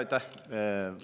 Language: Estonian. Aitäh!